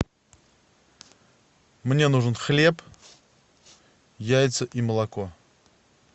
мне нужен хлеб яйца и молоко